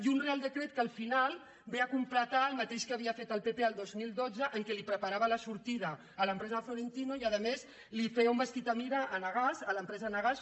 i un reial decret que al final ve a completar el mateix que havia fet el pp el dos mil dotze en què li preparava la sortida a l’empresa de florentino i a més li feia un vestit a mida a enagas a l’empresa enagas